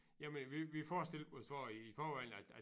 Jamen vi vi forestillede os også i forvejen at at